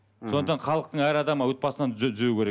сондықтан халықтың әр адамы отбасынан түзеу керек